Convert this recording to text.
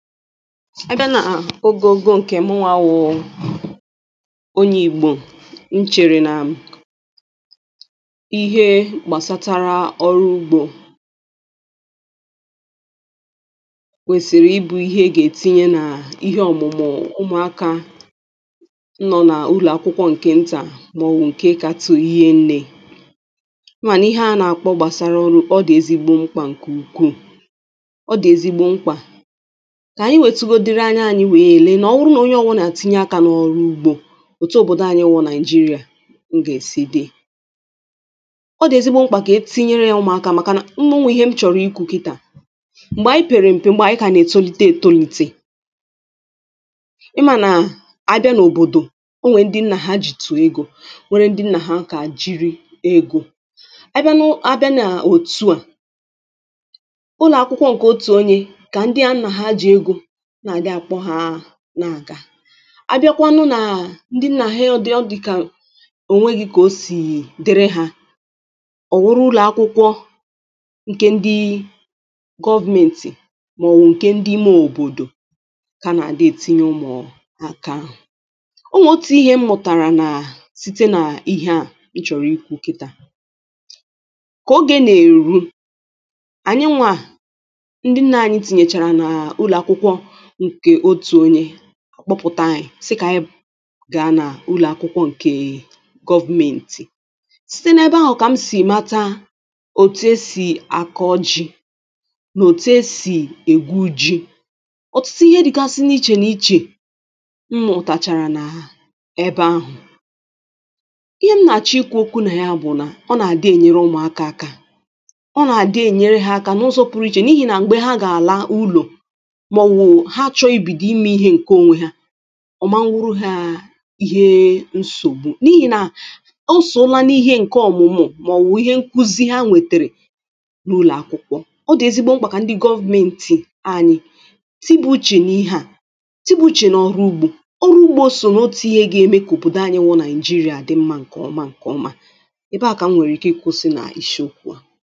a bịa nà um ogogo ǹkè mụnwa bụ [paues]onye ìgbò nchèrè nà [paues]m ihe gbàsatara ọrụ ugbȯ [paues]kwèsìrì ịbụ̇ ihe ɪ ga-etinye nà ihe ọ̀mụ̀mụ̀ ụmụ̀aka [paues]nọ n’ụlọ̀akwụkwọ ǹkè ntà màọbụ̀ ǹkè kȧtụ̀ rie nnė ,ịma na ihe a nà-àkpọ gbàsàrà ọrụ ọ dị̀ ezigbo mkpà ǹkè ukwuù. ọ dị̀ ezigbo mkpà kà ànyị wetugodiri anya anyị wèe lee nà ọ bụrụ nà onye ọbụnà tinye akȧ n’ọrụ ugbȯ òtu òbòdò anyị wụrụ nàịjirịà m gà-èsi dị. ọ dị̀ ezigbȯ mkpà kà e tinyere yȧ ụmụ̀akȧ màkà na onwere Ihe m chọ̀rọ̀ ikwu̇ kịtà m̀gbè ànyị pèrè m̀pè m̀gbè ànyị kà nà-ètolite ètolite ịmȧ nà àbịa n’òbòdò o nwèrè ndị nnà hà jì tù egȯ nwère ndị nnà hà aka jìri egȯ, abịa nà ọ abịa nà òtu à n’ụlọ̀ akwụkwọ ǹkè otù onye kà ndị a nna hà ji egȯ na adị akpogha nà-àga abịakwanụ nà ndị nnà ha ọ dị ka ò nweghi̇ kà o sì dịrị ha ọ̀ bụrụ ụlọ̀ akwụkwọ ǹkè ndi gọọmenti màọbụ̀ ǹkè ndi m òbòdò ka ana adị ètinye ụmụ̀ọ̀ nà aka ahụ̀ onwe otu̇ ihe m mụ̀tàrà nà site nà ihe à nchọ̀rọ̀ ikwu̇ kịtȧ ,kà oge nà-èru ànyị nwȧ ndị nnà anyị tìnyèchàrà nà ụlọ̀ akwụkwọ nke otu onye akpọpụ̀ta ȧnyì sị kà anyị̀ um gàa nà ụlọ̀akwụkwọ ǹke gọọmenti, siti n’ebe ahụ̀ kà m sì mata òtù e sì àkọ ji nà òtù e sì ègwu ji ọ̀tụtụ ihe dị̀kasi n’ichè n’ichè m mutàchàrà na n’ebe ahụ̀, ihe m nà-àchọ ikwu̇ okwu nà ya bụ̀ nà ọ nà-àdị ènyere ụmụ̀aka akȧ ọ nà-àdị ènyere ha aka n’ụzọ̇ pụrụ ichè n’ihì nà m̀gbè ha gà-àla ulọ̀ ha chọ̇rọ̇ ibido ime ihe ǹke onwe ha ọ̀ ma bụrụ ha ihe nsògbu n’ihì nà o sòola n’ihe ǹke ọ̀mụ̀mụ̀ màọbụ̀ ihe nkuzi ha nwètèrè n’ụlọ̀akwụkwọ̇ ọ dị̀ ezigbo mkpà kà ndị gọọmenti anyị̀ tibauche n’ihe à tibauche n’ọrụ ugbȯ ọrụ ugbȯ o sò n’otù ihe gà-eme kà òbodò anyị bu naijirịa dị mmȧ ǹkè ọma ǹkè ọma ebe à kà m nwèrè ike ị kwụsị nà ishi okwu à